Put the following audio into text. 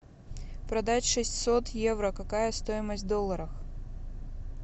продать шестьсот евро какая стоимость в долларах